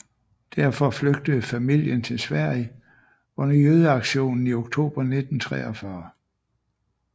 Derfor flygtede familien til Sverige under jødeaktionen i oktober 1943